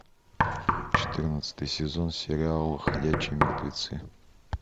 четырнадцатый сезон сериал ходячие мертвецы